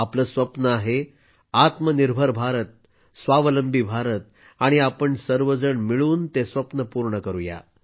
आपलं स्वप्न आहे आत्मनिर्भर भारत स्वावलंबी भारत आणि आपण सर्वजण मिळून ते स्वप्न पूर्ण करूया